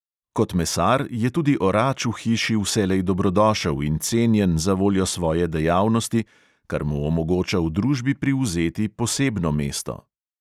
Kot mesar je tudi orač v hiši vselej dobrodošel in cenjen zavoljo svoje dejavnosti, kar mu omogoča v družbi privzeti posebno mesto.